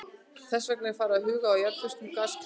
Þess vegna var farið að huga að jarðföstum gasklefum.